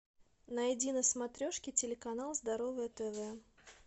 найди на смотрешке телеканал здоровое тв